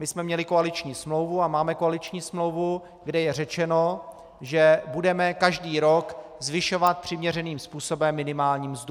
My jsme měli koaliční smlouvu a máme koaliční smlouvu, kde je řečeno, že budeme každý rok zvyšovat přiměřeným způsobem minimální mzdu.